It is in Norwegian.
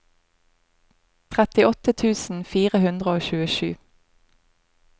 trettiåtte tusen fire hundre og tjuesju